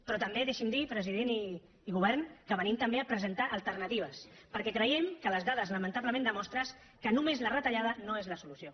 però també deixi’m dir president i govern que venim també a presentar alternatives perquè creiem que les dades lamentablement demostren que només la retallada no és la solució